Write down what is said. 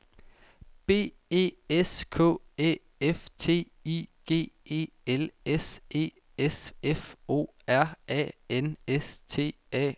B E S K Æ F T I G E L S E S F O R A N S T A L T N I N G